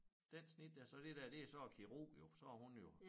Den snittede jeg så det der det så æ kirurg jo så har hun jo